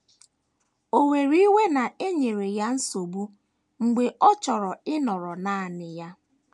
Ò were iwe na e nyere ya nsogbu mgbe ọ chọrọ ịnọrọ nanị ya?